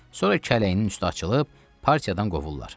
Sonra kələyinin üstü açılıb, partiyadan qovurlar.